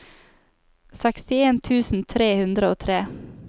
sekstien tusen tre hundre og tre